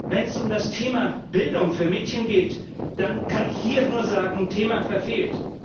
Wenn es um das Thema Bildung für Mädchen geht, dann kann ich hier nur sagen Thema verfehlt.